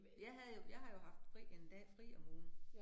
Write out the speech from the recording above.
Jeg havde jo, jeg har jo haft fri 1 dag fri om ugen